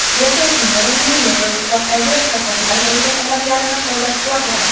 Merkel Kemeronning Yevroittifoqdagi islohotlar bo‘yicha talablarini qo‘llab-quvvatladi.